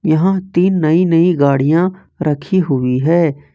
यहां तीन नई नई गाड़ियां रखी हुई है।